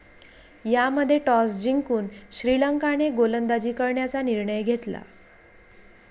यामध्ये टॉस जिंकून श्रीलंकाने गोलंदाजी करण्याचा निर्णय घेतला.